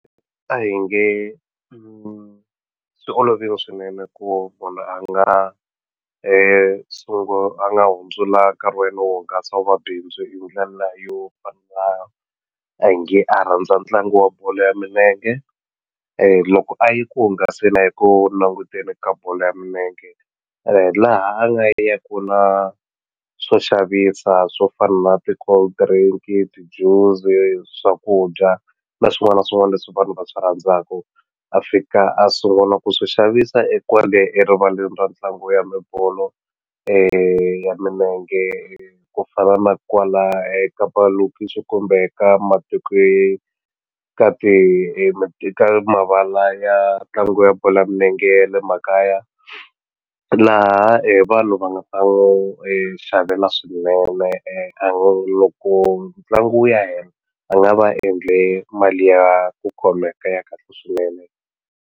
A hi nge swi olovile swinene ku munhu a nga a nga hundzula wu va bindzu hi ndlela yo fana a hi nge a rhandza ntlangu wa bolo ya milenge loko a ye ku hungaseni a ye ku languteni ka bolo ya milenge laha a nga ya ku na swo xavisa swo fana na ti-cold drink ti-juice swakudya na swin'wana na swin'wana leswi vanhu va swi rhandzaku a fika a sungula ku swi xavisa e kwale erivaleni ra ntlangu ya mibolo ya milenge ku fana na kwala eka malokixi kumbe ka ka ti eka mavala ya ntlangu ya bolo ya milenge ya le makaya laha vanhu va nga ta n'wi xavela swinene loko ntlangu wu ya hela a va nga va endle mali ya ku khomeka ya kahle swinene.